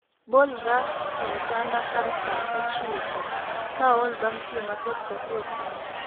Bolra e otanda kar saa ochiko ka aol bang' tiyo matek chakre okinyi